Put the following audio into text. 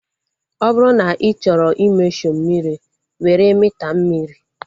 Ọ bụrụ na ị chọrọ i mesho mmiri, were mita mmiri